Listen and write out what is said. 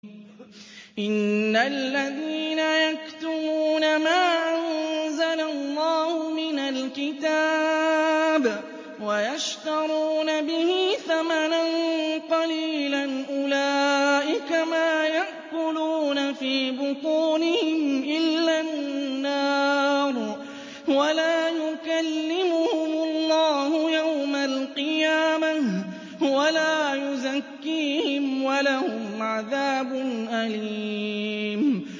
إِنَّ الَّذِينَ يَكْتُمُونَ مَا أَنزَلَ اللَّهُ مِنَ الْكِتَابِ وَيَشْتَرُونَ بِهِ ثَمَنًا قَلِيلًا ۙ أُولَٰئِكَ مَا يَأْكُلُونَ فِي بُطُونِهِمْ إِلَّا النَّارَ وَلَا يُكَلِّمُهُمُ اللَّهُ يَوْمَ الْقِيَامَةِ وَلَا يُزَكِّيهِمْ وَلَهُمْ عَذَابٌ أَلِيمٌ